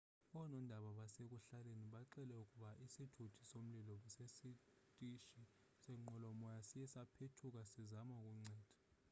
oonondaba basekuhlaleni bxele ukuba isithuthi somlilo sesitishi senqwelomoya siye saphethuka sisazama ukunceda